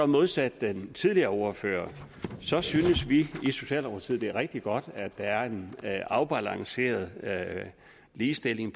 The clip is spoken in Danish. modsat den tidligere ordfører så synes vi i socialdemokratiet det er rigtig godt at der er en afbalanceret ligestilling